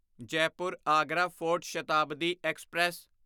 Jaipur Agra fort Shatabdi express